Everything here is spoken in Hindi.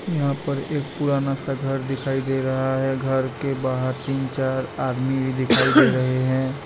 यहां पर एक पुराना सा घर दिखाई दे रहा है घर के बाहर तीन चार आदमी भी दिखाई दे रहे हैं।